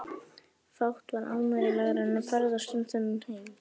Fátt var ánægjulegra en að ferðast um þennan heim.